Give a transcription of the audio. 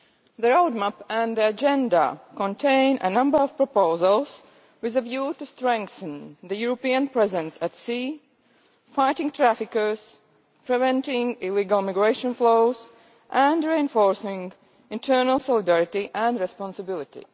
The roadmap and the agenda contain a number of proposals with a view to strengthening the European presence at sea, fighting traffickers, preventing illegal migration flows and reinforcing internal solidarity and responsibility.